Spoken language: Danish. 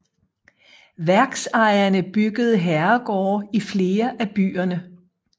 Værksejerne byggede herregårde i flere af byerne